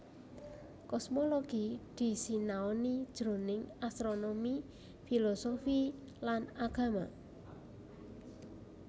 Kosmologi disinaoni jroning astronomi filosofi lan agama